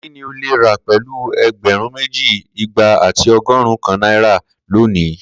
Kini o le ra pẹlu ẹgbẹrun meji, igba ati ọgọrun kan naira ra loni?